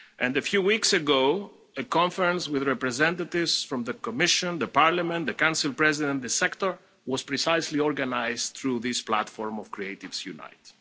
A few weeks ago, a conference with representatives from the Commission, the Parliament, the Council President and the sector was precisely organised through this platform of Creatives Unite.